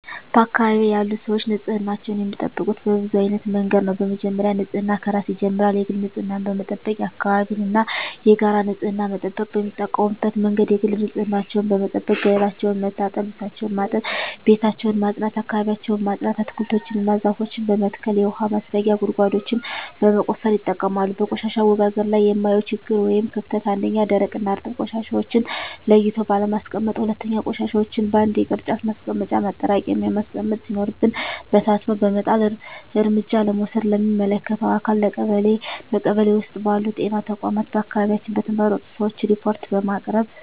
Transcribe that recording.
በአካባቢዬ ያሉ ሰዎች ንፅህናቸውን የሚጠብቁት በብዙ አይነት መንገድ ነው በመጀመሪያ ንፅህና ከራስ ይጀምራል የግል ንፅህናን በመጠበቅ የአካባቢን እና የጋራ ንፅህና መጠበቅ። የሚጠቀሙበት መንገድ የግል ንፅህናቸውን በመጠበቅ ገላቸውን መታጠብ ልብሳቸውን ማጠብ ቤታቸውን ማፅዳት አካባቢያቸውን ማፅዳት። አትክልቶችን እና ዛፎችን በመትከል የውሀ ማስረጊያ ጉድጓዶችን በመቆፈር ይጠቀማሉ። በቆሻሻ አወጋገድ ላይ የማየው ችግር ወይም ክፍተት 1ኛ, ደረቅና እርጥብ ቆሻሻዎችን ለይቶ ባለማስቀመጥ 2ኛ, ቆሻሻዎችን በአንድ የቅርጫት ማስቀመጫ ማጠራቀሚያ ማስቀመጥ ሲኖርብን በታትኖ በመጣል። እርምጃ ለመውሰድ ለሚመለከተው አካል ለቀበሌ ,በቀበሌ ውስጥ ባሉ ጤና ተቋማት በአካባቢያችን በተመረጡ ሰዎች ሪፓርት በማቅረብ።